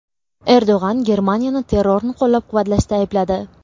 Erdo‘g‘on Germaniyani terrorni qo‘llab-quvvatlashda aybladi.